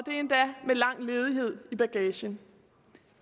endda med lang ledighed i bagagen